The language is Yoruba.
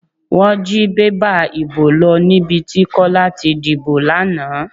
Wọ́n jí bébà ìbò lọ níbi tí Kọ́lá ti dìbò lánàá.